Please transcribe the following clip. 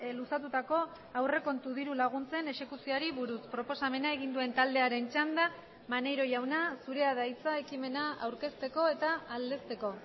luzatutako aurrekontu diru laguntzen exekuzioari buruz proposamena egin duen taldearen txanda maneiro jauna zurea da hitza ekimena aurkezteko eta aldezteko